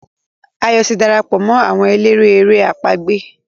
Ayo tí darapọ̀ mọ́ àwọn eléré èrè àpagbè.